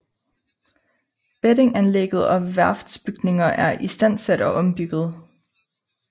Beddinganlægget og værftsbygninger er istandsat og ombygget